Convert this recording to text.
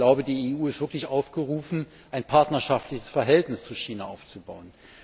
Und ich glaube, die EU ist wirklich aufgerufen, ein partnerschaftliches Verhältnis zu China aufzubauen.